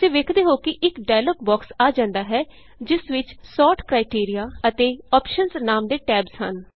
ਤੁਸੀਂ ਵੇਖੋਗੇ ਕਿ ਇਕ ਡਾਇਲੋਗ ਬੋਕਸ ਆ ਜਾਂਦਾ ਹੈ ਜਿਸ ਵਿਚ ਸੋਰਟ ਕ੍ਰਾਈਟੇਰੀਆ ਅਤੇ ਆਪਸ਼ਨਜ਼ ਨਾਮ ਦੇ ਟੈਬਸ ਹਨ